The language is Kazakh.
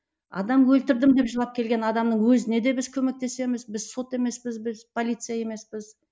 адам өлтірдім деп жылап келген адамның өзіне де біз көмектесеміз біз сот емеспіз біз полиция емеспіз